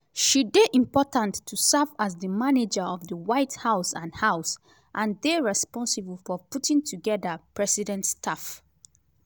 she dey important to serve as di manager of di white house and house and dey responsible for putting togeda president staff.